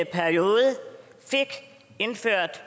periode fik indført